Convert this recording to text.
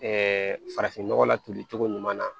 farafin nɔgɔ la tolicogo ɲuman na